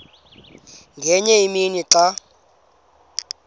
ngenye imini xa